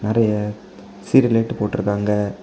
நெறைய serial light போட்டு இருக்காங்க.